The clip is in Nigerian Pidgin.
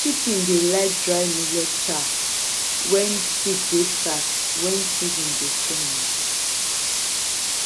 chicken dey like dry millet chaff when feed dey scarce when season dey change